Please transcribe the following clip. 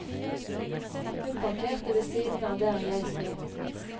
Hun parkerte ved siden av der jeg stod.